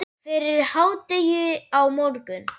Fyrir hádegi á morgun.